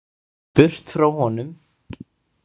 Burt frá honum.